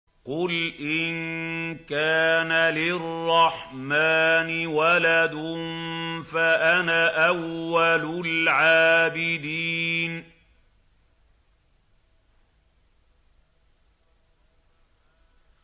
قُلْ إِن كَانَ لِلرَّحْمَٰنِ وَلَدٌ فَأَنَا أَوَّلُ الْعَابِدِينَ